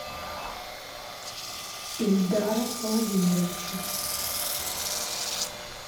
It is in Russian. ильдара владимировича